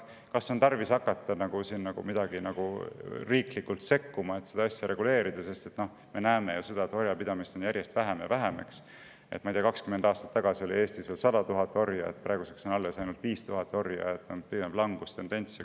Kas on tarvis hakata riiklikult sekkuma, et seda asja reguleerida, kui me näeme, et orjapidamist on järjest vähem ja vähem – ma ei tea, 20 aastat tagasi oli Eestis 100 000 orja, praeguseks on alles ainult 5000 orja – ja on pigem langustendents?